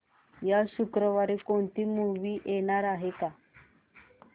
या शुक्रवारी कोणती नवी मूवी येणार आहे का